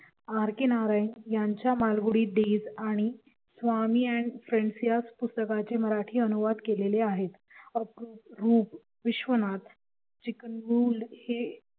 RK Narayan यांच्या Malgudi days आणि Swami and friends या पुस्तकाचे मराठी अनुवाद केलेले आहे विश्वनाथ